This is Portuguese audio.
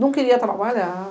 Não queria trabalhar.